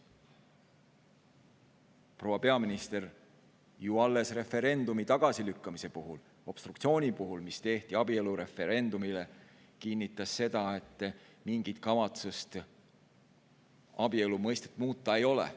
Proua peaminister alles referendumi tagasilükkamise puhul, obstruktsiooni puhul, mis tehti abielureferendumile, kinnitas, et mingit kavatsust abielu mõistet muuta ei ole.